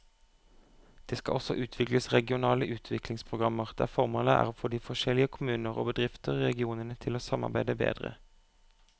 Det skal også utvikles regionale utviklingsprogrammer der formålet er å få de forskjellige kommuner og bedrifter i regionene til å samarbeide bedre.